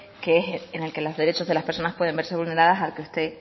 en el que los derechos de las personas pueden verse vulneradas al que usted